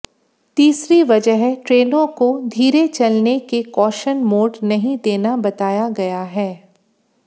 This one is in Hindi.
तीसरी वजह ट्रेनों को धीरे चलने के कॉशन मोड नहीं देना बताया गया है